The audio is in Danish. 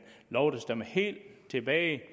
lov der stammer helt tilbage